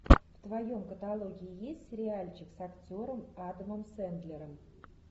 в твоем каталоге есть сериальчик с актером адамом сэндлером